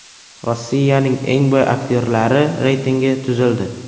Rossiyaning eng boy aktyorlari reytingi tuzildi.